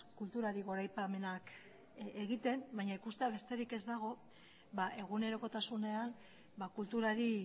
kulturari goraipamenak egiten baina ikustea besterik ez dago egunerokotasunean kulturari